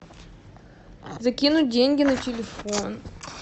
закинуть деньги на телефон